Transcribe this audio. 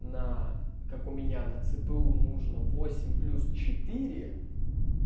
на как у меня на цпу нужно восемь плюс четыре